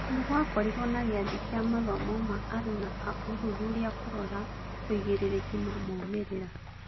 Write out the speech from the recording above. Nĩgũakorirwo na gĩathĩ kĩa mathomo ma aruna a ũthuthuria kũrora ũigĩrĩrĩki na moimĩrĩra.